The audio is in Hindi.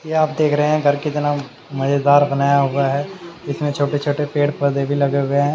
कि आप देख रहे हैं घर कितना मजेदार बनाया हुआ है इसमें छोटे छोटे पेड़ पौधे भी लगे हुए हैं।